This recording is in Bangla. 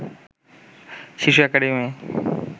শিশু একাডেমি